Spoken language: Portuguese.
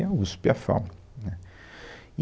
E a USP, e a FAU, né